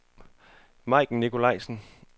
Majken Nicolaisen